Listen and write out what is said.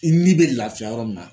I ni bɛ laafiya yɔrɔ min na.